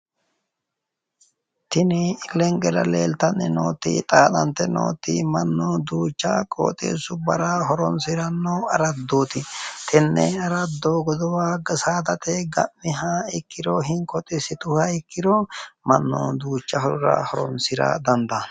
Tini ikkenkera nooti, xaaxante nooti mannu duucha qooxeessubbara horonsiranno araddooti. Tenne araddo hatto godowa ikko saadate ga’miha ikkiro hinko xissituha ikkiro mannu duucha horora horonsirara dandaanno.